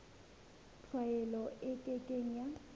tlwaelo e ke ke ya